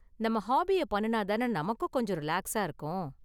நம்ம ஹாபிய பண்ணுனா தான நமக்கும் கொஞ்சம் ரிலாக்ஸா இருக்கும்?